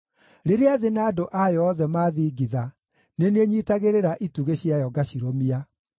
Rĩrĩa thĩ na andũ ayo othe maathingitha, nĩ niĩ nyiitagĩrĩra itugĩ ciayo ngacirũmia.